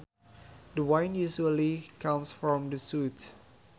The wind usually comes from the south